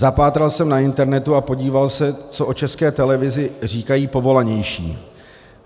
Zapátral jsem na internetu a podíval se, co o České televizi říkají povolanější.